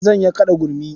Zan iya kaɗa gurmi.